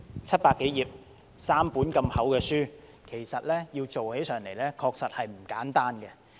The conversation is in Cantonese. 七百多頁 ，3 本如此厚的書，其實要做起上來確實不簡單。